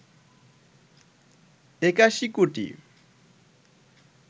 ৮১ কোটি